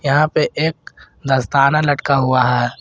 यहां पे एक दस्ताना लटका हुआ है।